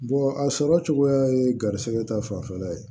a sɔrɔ cogoya ye garisɛgɛ ta fanfɛla ye